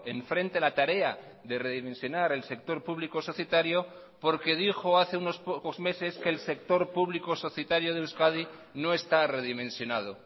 enfrente la tarea de redimensionar el sector público societario porque dijo hace unos pocos meses que el sector público societario de euskadi no está redimensionado